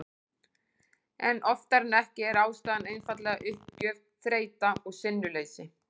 En oftar en ekki er ástæðan einfaldlega uppgjöf, þreyta og sinnuleysi.